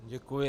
Děkuji.